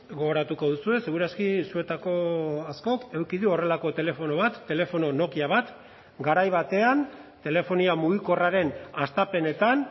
gogoratuko duzue seguraski zuetako askok eduki du horrelako telefono bat telefono nokia bat garai batean telefonia mugikorraren hastapenetan